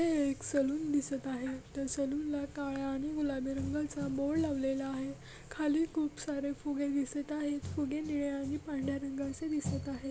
इथं एक सलून दिसत आहे त्या सलून ला काळ्या आणि गुलाबी रंगाचा बोर्ड लावलेला आहे खाली खूप सारे फुगे दिसत आहेत फुगे निळ्या आणि पांढर्‍या रंगाचे दिसत आहेत.